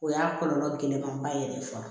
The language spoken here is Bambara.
O y'a kɔlɔlɔ gɛlɛnmanba ye dɛ fɔlɔ